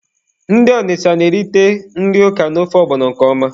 Ndị Ọnịcha na-erite nri Ọka na ofe ọgbọnọ nke ọma.